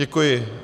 Děkuji.